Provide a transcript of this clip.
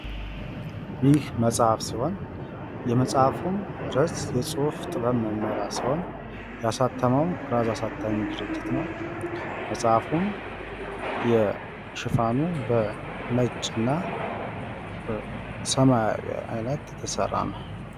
ይህ መጽሐፍ ሲሆን የመጽሃፉም ርእስ የጽሁፍ ጥበብ መመሪያ ሲሆን ያሳተመውም ኩራዝ አሳታሚ ድርጅት ነው ። መጽሐፍም የሽፋኑ ነጭና ሰማያዊ አይነት የተሰራ ነው ።